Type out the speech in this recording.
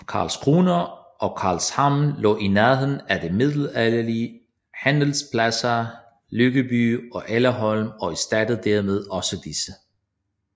Karlskrona og Karlshamn lå i nærheden af de middelalderlige handelspladser Lyckeby og Elleholm og erstattede dermed også disse